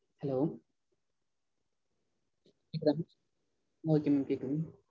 Hello okay mam கேக்குது.